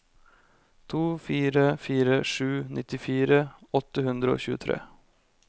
to fire fire sju nittifire åtte hundre og tjuetre